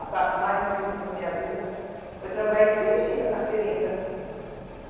A fase mais difícil da minha vida foi trabalhar em seringa, na seringa.